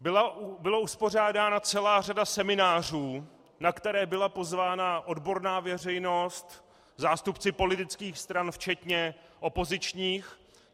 Byla uspořádána celá řada seminářů, na které byla pozvána odborná veřejnost, zástupci politických stran včetně opozičních.